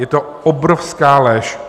Je to obrovská lež.